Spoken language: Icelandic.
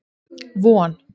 Von